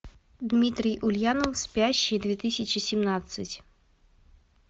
дмитрий ульянов спящие две тысячи семнадцать